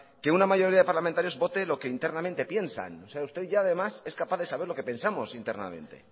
que una mayoría de parlamentarios vote lo que internamente piensan o sea usted ya además es capaz de saber lo que pensamos internamente